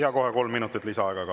Jaa, kohe kolm minutit lisaaega ka.